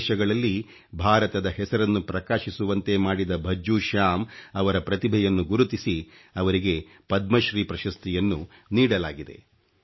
ವಿದೇಶಗಳಲ್ಲಿ ಭಾರತದ ಹೆಸರನ್ನು ಪ್ರಕಾಶಿಸುವಂತೆ ಮಾಡಿದ ಭಜ್ಜೂ ಶ್ಯಾಮ್ ಅವರ ಪ್ರತಿಭೆಯನ್ನು ಗುರುತಿಸಿ ಅವರಿಗೆ ಪದ್ಮಶ್ರೀ ಪ್ರಶಸ್ತಿಯನ್ನು ನೀಡಲಾಗಿದೆ